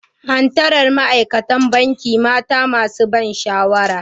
Hattara Ma'aikatan Banki mata masu ban sha'awa.